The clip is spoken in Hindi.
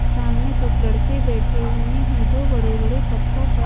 सामने कुछ लड़के बैठे हुए हैं जो बड़े बड़े पत्थरों पर--